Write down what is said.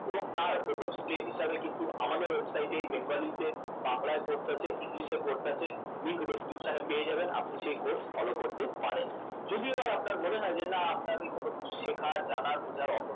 এবং তার প্রথম step হিসাবে কিন্তু আমাদের website ই bengali তে বাংলায় course আছে english এ course আছে link description এ পেয়ে যাবেন আপনি সেই course follow করতে পারেন যদি এবার আপনার মনে হয় যে না আপনার ওই কোন জানার শেখার বোঝার